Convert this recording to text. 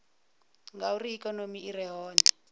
ngauri ikonomi i re hone